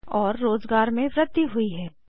और रोज़गार में वृद्धि हुई है